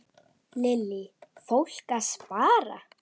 Lillý: Fólk að spara?